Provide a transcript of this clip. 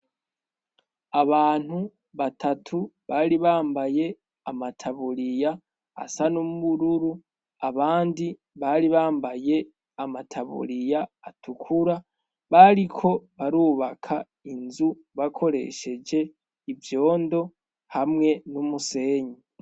Abantu batatu bari bambaye amataburiya asa n'umururu abandi bari bambaye amataburiya atukura bariko barubaka inzu bakoresheje ivyondo hamwe n'umusenyi.